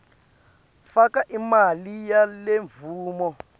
faka imali yalemvumo